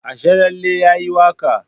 Asharalle ya yi waƙa